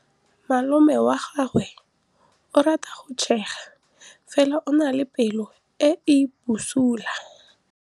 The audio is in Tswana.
Malomagwe o rata go tshega fela o na le pelo e e bosula.